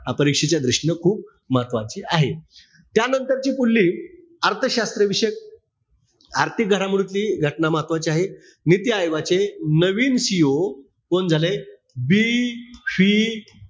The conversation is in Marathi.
परीक्षेच्या दृष्टीनं खूप महत्वाची आहे. त्यानंतरची पुढली अर्थशास्त्र विषयक, आर्थिक घडामोडीची घटना महत्वाची आहे. नीती आयोगाचे नवीन CEO कोण झाले? BV,